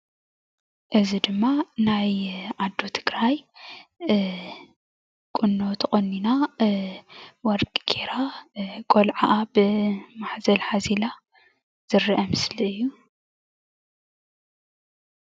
እዚ ድማ ናይ ኣዶ ትግራይ ቁኖ ተቆኒና ወርቂ ገይራ ቆልዓኣ ብማሕዘል ሓዚላ ዘረአ ምስሊ እዩ፡፡